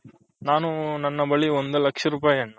ನಾನು ನನ್ನ ಬಳಿ ಒಂದು ಲಕ್ಷ ರುಪೈನ್ನು